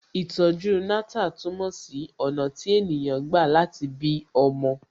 Ìtọ̀ju Natal túmọ̀ sí ọ̀nà tí ènìyàn gbà láti bí ọmọ